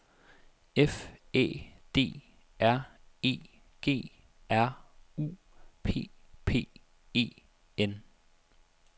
F Æ D R E G R U P P E N